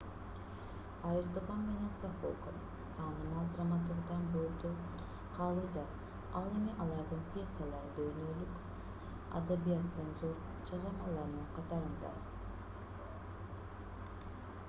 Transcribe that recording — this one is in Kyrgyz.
аристофан менен софоклс таанымал драматургдар бойдон калууда ал эми алардын пьесалары дүйнөлүк адабияттын зор чыгармаларынын катарында